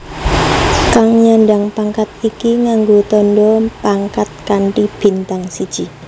Kang nyandhang pangkat iki nganggo tandha pangkat kanthi bintang siji